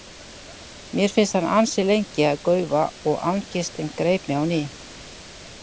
Mér fannst hann ansi lengi að gaufa og angistin greip mig á ný.